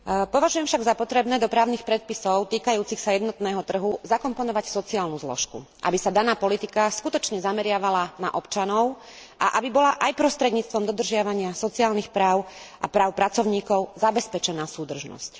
Považujem však za potrebné do právnych predpisov týkajúcich sa jednotného trhu zakomponovať sociálnu zložku, aby sa daná politika skutočne zameriavala na občanov a aby bola aj prostredníctvom dodržiavania sociálnych práv a práv pracovníkov zabezpečená súdržnosť.